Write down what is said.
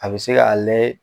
A bɛ se k'ale.